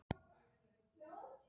Mamma hans greip fram í fyrir henni.